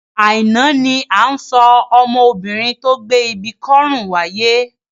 Àìná ni à ń sọ ọmọbinrin tó gbé ibi kọ́rùn wáyé.